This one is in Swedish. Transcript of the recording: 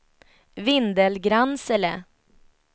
Vindelgransele